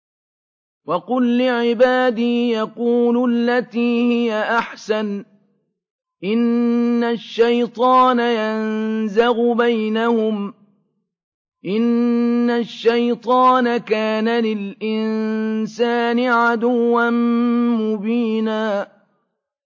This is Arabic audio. وَقُل لِّعِبَادِي يَقُولُوا الَّتِي هِيَ أَحْسَنُ ۚ إِنَّ الشَّيْطَانَ يَنزَغُ بَيْنَهُمْ ۚ إِنَّ الشَّيْطَانَ كَانَ لِلْإِنسَانِ عَدُوًّا مُّبِينًا